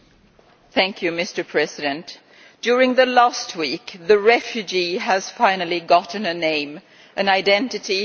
Mr President, during the last week the refugee finally got a name, an identity and a story.